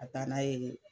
Ka taa n'a ye